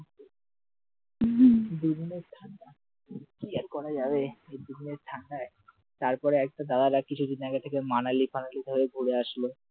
দুদিনের ঠাণ্ডা কি অরে করা যাবে এই দুদিনের ঠান্ডায়, তারপরে একটা দাদা কিছুদিন আগে এখানে মানালি ফানালি হয়ে ঘুরে আসল ছবি টবি ছাড়ছিলো